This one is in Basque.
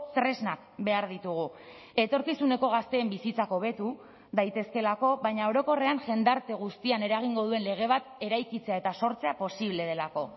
tresnak behar ditugu etorkizuneko gazteen bizitzak hobetu daitezkeelako baina orokorrean jendarte guztian eragingo duen lege bat eraikitzea eta sortzea posible delako